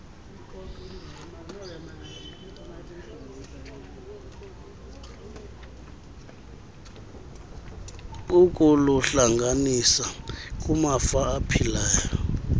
ukuluhlanganisa kumafa aphilayo